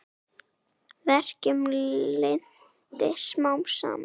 Verkjum linnti smám saman.